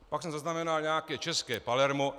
Pak jsem zaznamenal nějaké české Palermo.